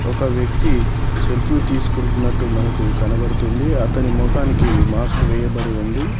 ఒక వ్యక్తి సెల్ఫీ తీసుకుంటున్నట్టు మనకు కనబడుతుంది అతని మొఖానికి మాస్క్ వేయబడి ఉంది.